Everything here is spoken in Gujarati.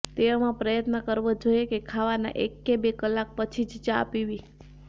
તેવામાં પ્રયત્ન કરવો જોઈએ કે ખાવાના એક કે બે કલાક પછી જ ચા પીવી